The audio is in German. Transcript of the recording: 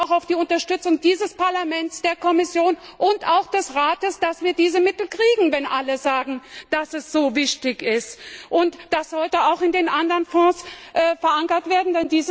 Ich hoffe da auch auf die Unterstützung dieses Parlaments, der Kommission und auch des Rates, dass wir diese Mittel kriegen, wenn alle sagen, dass es so wichtig ist, und dass sie heute auch in den anderen Fonds verankert werden.